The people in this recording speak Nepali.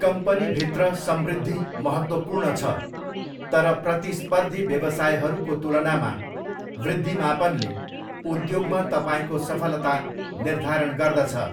कम्पनीभित्र समृद्धि महत्त्वपूर्ण छ, तर प्रतिस्पर्धी व्यवसायहरूको तुलनामा वृद्धि मापनले उद्योगमा तपाईँको सफलता निर्धारण गर्दछ।